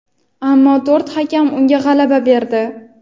Ammo to‘rt hakam unga g‘alaba berdi.